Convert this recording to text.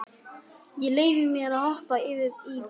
Ég leyfi mér að hoppa yfir í bréfið.